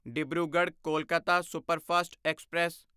Dibrugarh Kolkata superfast express